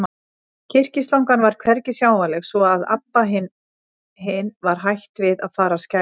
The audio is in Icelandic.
Kyrkislangan var hvergi sjáanleg, svo að Abba hin var hætt við að fara að skæla.